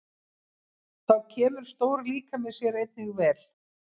Þá kemur stór líkami sér einnig vel.